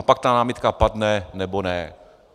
A pak ta námitka padne nebo ne.